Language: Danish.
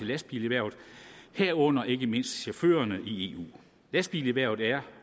lastbilerhvervet herunder ikke mindst for chaufførerne i eu lastbilerhvervet er